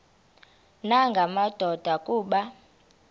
nanga madoda kuba